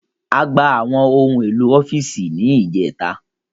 A gba àwọn ohun èlò ọ́fíìsì ní ìjẹ́ta